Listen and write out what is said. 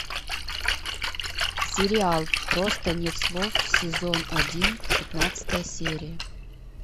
сериал просто нет слов сезон один пятнадцатая серия